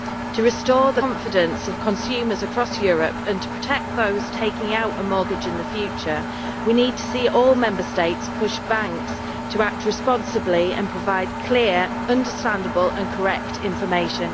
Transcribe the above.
To restore the confidence of consumers across Europe, and to protect those taking out a mortgage in the future, we need to see all Member States pushing banks to act responsibly and provide clear, understandable and correct information.